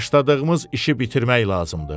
Başladığımız işi bitirmək lazımdır.